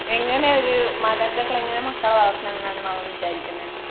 എങ്ങിനെ ഒരു മാതാപിതാക്കൾ എങ്ങിനെ മക്കളെ വളർത്തണം എന്ന മാമൻ വിചാരിക്കുന്നെ?